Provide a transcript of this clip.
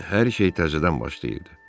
Lakin hər şey təzədən başlayırdı.